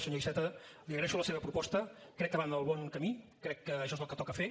senyor iceta li agraeixo la seva proposta crec que va en el bon camí crec que això és el que toca fer